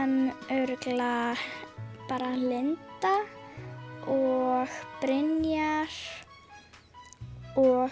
örugglega bara Linda og Brynjar og